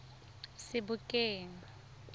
sebokeng